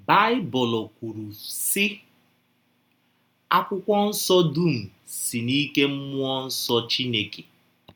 Baịbụl kwụrụ, sị: “:“ Akwụkwọ Nsọ dụm si n’ike mmụọ nsọ Chineke. ”